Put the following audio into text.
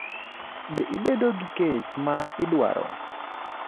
Be ibedo gi kech ma idwaro?